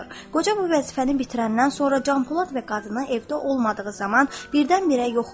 Qoca bu vəzifəni bitirəndən sonra Canpolad və qadını evdə olmadığı zaman birdən-birə yox olur.